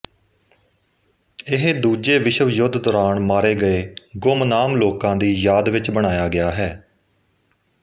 ਇਹ ਦੂਜੇ ਵਿਸ਼ਵ ਯੁੱਧ ਦੌਰਾਨ ਮਾਰੇ ਗਏ ਗੁਮਨਾਮ ਲੋਕਾਂ ਦੀ ਯਾਦ ਵਿੱਚ ਬਣਾਇਆ ਗਿਆ ਹੈ